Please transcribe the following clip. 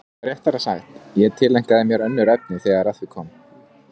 Eða réttara sagt, ég tileinkaði mér önnur efni þegar að því kom.